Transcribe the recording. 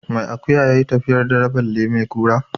Mai akuya ya yi tafiyar dare balle mai kura.